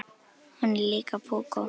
Hún er líka púkó.